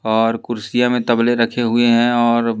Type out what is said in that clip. और कुर्सियां में तबले रखे हुए हैं और--